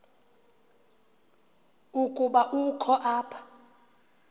ukuba ukho apha